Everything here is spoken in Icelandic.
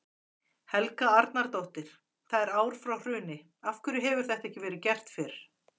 Helga Arnardóttir: Það er ár frá hruni, af hverju hefur þetta ekki verið gert fyrr?